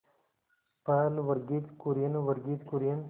पहल वर्गीज कुरियन वर्गीज कुरियन